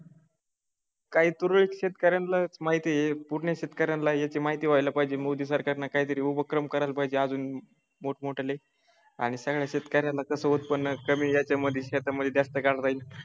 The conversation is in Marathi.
काही तुरळक शेतकऱ्यांना माहिती पूर्ण शेतकऱ्यांना याची माहिती व्हायला पाहिजे मोदी सरकारन काहीतरी उपक्रम करायला पाहिजे अजून मोठमोठाले आणि सगळ्या शेतकऱ्याला खर्च कमी उत्पन्न कमी याच्यामध्ये शेतामध्ये शेतामध्ये जास्त गाळ राहील.